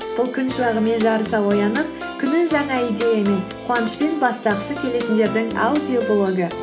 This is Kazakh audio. бұл күн шуағымен жарыса оянып күнін жаңа идеямен қуанышпен бастағысы келетіндердің аудиоблогы